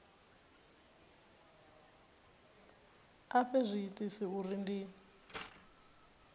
a fhe zwiitisi uri ndi